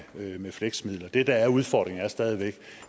det med fleksmidler det der er udfordringen er stadig væk